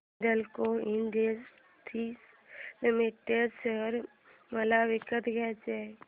Hindalco industries limited share मला विकत घ्यायचे आहेत